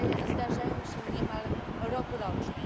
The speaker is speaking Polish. Zdarzają się niemal rokrocznie.